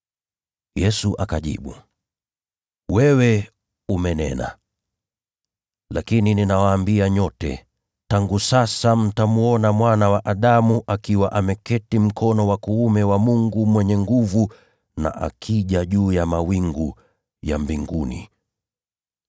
Yesu akajibu, “Wewe umenena. Lakini ninawaambia nyote: Siku za baadaye, mtamwona Mwana wa Adamu akiwa ameketi mkono wa kuume wa Mwenye Nguvu, na akija juu ya mawingu ya mbinguni.”